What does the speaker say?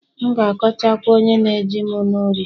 M'gākọcha kwa onye nējim n'ori